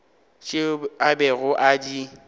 tšeo a bego a di